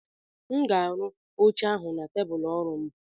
m ga-arụ oche ahụ na tebụl ọrụ m